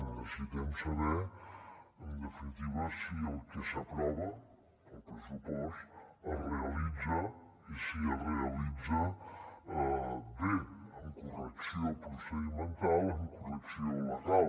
necessitem saber en definitiva si el que s’aprova al pressupost es realitza i si es realitza bé amb correcció procedimental amb correcció legal